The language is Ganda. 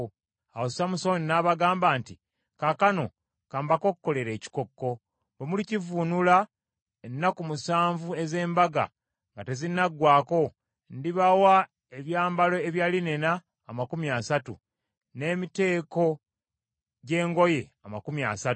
Awo Samusooni n’abagamba nti, “Kaakano ka mbakokkolere ekikokko. Bwe mulikivvuunula ennaku omusanvu ez’embaga nga tezinnaggwaako, ndibawa ebyambalo ebya linena amakumi asatu, n’emiteeko gy’engoye amakumi asatu.